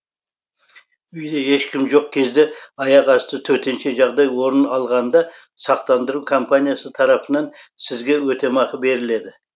үйде ешкім жоқ кезде аяқ асты төтенше жағдай орын алғанда сақтандыру компаниясы тарапынан сізге өтемақы беріледі